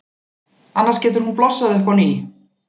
Annars getur hún blossað upp á ný.